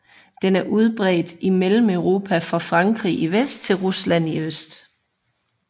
Den er udbredt i Mellemeuropa fra Frankrig i vest til Rusland i øst